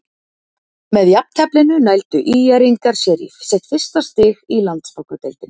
Með jafnteflinu nældu ÍR-ingar sér í sitt fyrsta stig í Landsbankadeildinni.